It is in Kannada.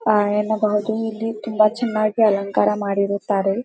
ಆಹ್ಹ್ ಎನ್ನ ಬಾಜು ಇಲ್ಲಿ ತುಂಬ ಚೆನ್ನಗಿ ಅಲಂಕಾರ ಮಾಡಿರುತ್ತಾರೆ.